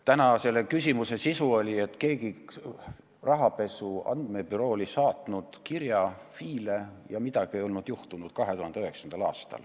Täna oli ühe küsimuse sisu, et rahapesu andmebüroo saatis 2009. aastal FI-le kirja, aga midagi ei juhtunud.